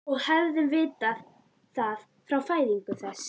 Og hefðum vitað það frá fæðingu þess.